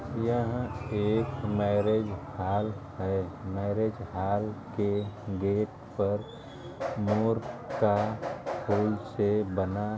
यहां एक marriage hall है। मैरेज हॉल के गेट पर मोर का फूल से बना --